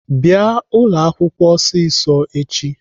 Bịanụ ụlọakwụkwọ ọsịsọ echi!